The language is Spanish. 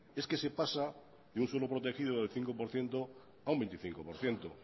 es que se pasa de un suelo protegido del cinco por ciento a un veinticinco por ciento